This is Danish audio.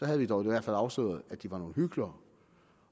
havde vi dog i hvert fald afsløret at de var nogle hyklere